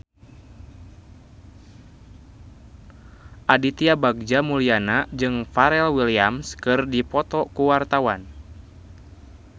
Aditya Bagja Mulyana jeung Pharrell Williams keur dipoto ku wartawan